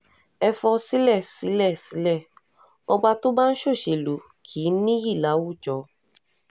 ẹ fọ́sílẹ̀ sílẹ̀ sílẹ̀ ọba tó bá ń ṣọ́ṣèlú kì í níyì láwùjọ